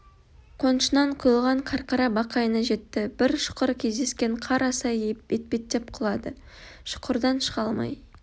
қонышынан құйылған қарқара бақайына жетті бір шұқыр кездескен қар асай етбеттеп құлады шұқырдан шыға алмай